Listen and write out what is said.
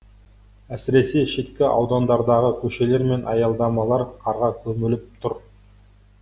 әсіресе шеткі аудандардағы көшелер мен аялдамалар қарға көміліп тұр